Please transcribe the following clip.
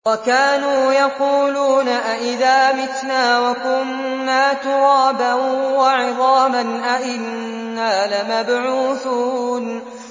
وَكَانُوا يَقُولُونَ أَئِذَا مِتْنَا وَكُنَّا تُرَابًا وَعِظَامًا أَإِنَّا لَمَبْعُوثُونَ